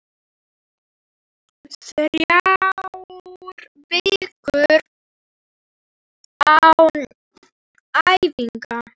Þrjár vikur án æfinga?